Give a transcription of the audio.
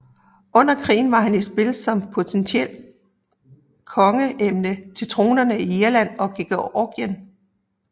Under krigen var han i spil som potentielt kongsemne til tronerne i Irland og Georgien